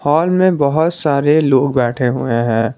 Hall में बहोत सारे लोग बैठे हुए हैं।